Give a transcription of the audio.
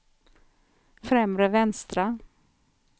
främre vänstra